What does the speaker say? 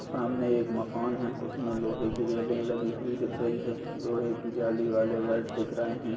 सामने एक मकान है उसमे लोहे की रेललिंग लगी हुई दिख रही है लोहे की जाली वाले घर दिख रहे है।